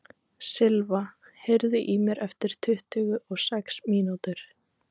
Silva, heyrðu í mér eftir tuttugu og sex mínútur.